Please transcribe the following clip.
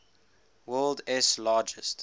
world s largest